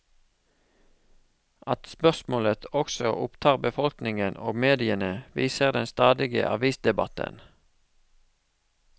At spørsmålet også opptar befolkningen og mediene, viser den stadige avisdebatten.